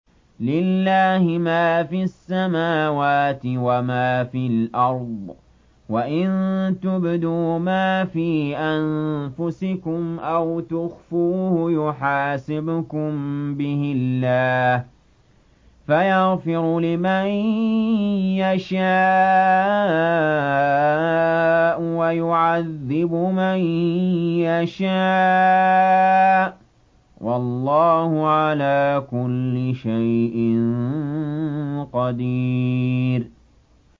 لِّلَّهِ مَا فِي السَّمَاوَاتِ وَمَا فِي الْأَرْضِ ۗ وَإِن تُبْدُوا مَا فِي أَنفُسِكُمْ أَوْ تُخْفُوهُ يُحَاسِبْكُم بِهِ اللَّهُ ۖ فَيَغْفِرُ لِمَن يَشَاءُ وَيُعَذِّبُ مَن يَشَاءُ ۗ وَاللَّهُ عَلَىٰ كُلِّ شَيْءٍ قَدِيرٌ